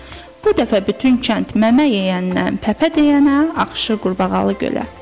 Bu dəfə bütün kənd məmə yeyəndən pəpə deyənə ağşı qurbağalı gölə.